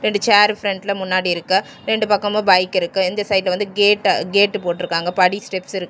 ரெண்டு சேர் ஃபிரண்டுல முன்னாடி இருக்கு ரெண்டு பக்கமு பைக் இருக்கு இந்த வந்த கேட்டு கேட் போட்ருக்காங்க படி ஸ்டெப்ஸ் இருக்கு.